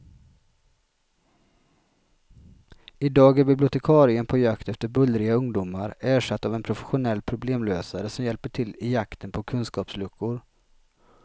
I dag är bibliotekarien på jakt efter bullriga ungdomar ersatt av en professionell problemlösare som hjälper till i jakten på kunskapsluckor.